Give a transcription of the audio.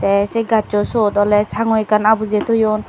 te say gassu sot ole sanggu ekkan abuje toyoun.